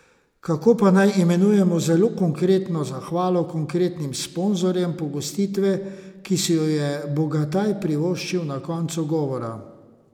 Kako pa naj imenujemo zelo konkretno zahvalo konkretnim sponzorjem pogostitve, ki si jo je Bogataj privoščil na koncu govora?